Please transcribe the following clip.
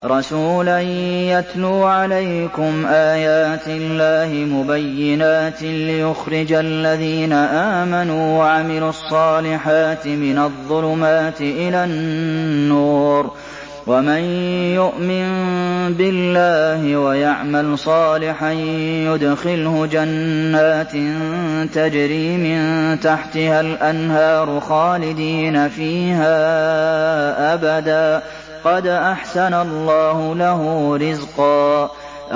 رَّسُولًا يَتْلُو عَلَيْكُمْ آيَاتِ اللَّهِ مُبَيِّنَاتٍ لِّيُخْرِجَ الَّذِينَ آمَنُوا وَعَمِلُوا الصَّالِحَاتِ مِنَ الظُّلُمَاتِ إِلَى النُّورِ ۚ وَمَن يُؤْمِن بِاللَّهِ وَيَعْمَلْ صَالِحًا يُدْخِلْهُ جَنَّاتٍ تَجْرِي مِن تَحْتِهَا الْأَنْهَارُ خَالِدِينَ فِيهَا أَبَدًا ۖ قَدْ أَحْسَنَ اللَّهُ لَهُ رِزْقًا